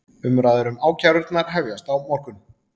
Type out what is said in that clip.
Umræður um ákærurnar hefjast á morgun